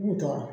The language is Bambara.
B'u tɔɔrɔ